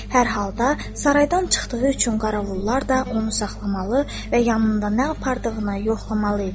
Hər halda saraydan çıxdığı üçün qarovullar da onu saxlamalı və yanında nə apardığını yoxlamalı idilər.